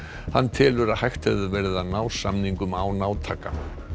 hann telur að hægt hefði verið að ná samningum án átaka